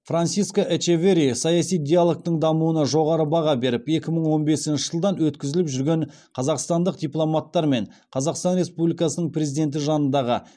франсиско эчеверри саяси диалогтың дамуына жоғары баға беріп екі мың он бесінші жылдан өткізіліп жүрген қазақстандық дипломаттар мен қазақстан республикасының президенті жанындағы